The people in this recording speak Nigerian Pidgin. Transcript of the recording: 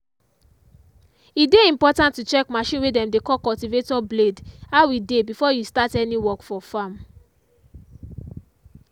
e dey important to check machine way dem dey call cultivator blade how e dey before you start any work for farm.